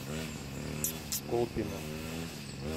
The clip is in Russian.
колпино